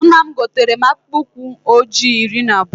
Nna m gotere mụ akpụkpụ ụkwụ ọjị iri na abụọ